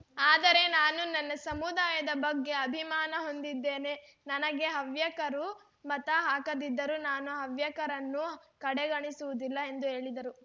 ಆದರೆ ನಾನು ನನ್ನ ಸಮುದಾಯದ ಬಗ್ಗೆ ಅಭಿಮಾನ ಹೊಂದಿದ್ದೇನೆ ನನಗೆ ಹವ್ಯಕರು ಮತ ಹಾಕದಿದ್ದರೂ ನಾನು ಹವ್ಯಕರನ್ನು ಕಡೆಗಣಿಸುವುದಿಲ್ಲ ಎಂದು ಹೇಳಿದರು